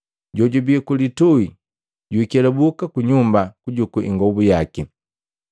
Jojubi ku litui jwiikelabuka ku nyumba kujuku ingobu yaki.